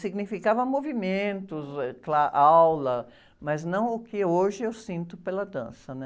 significava movimentos, eh, cla, aula, mas não o que hoje eu sinto pela dança, né?